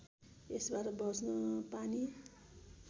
यसबाट बँच्न पानी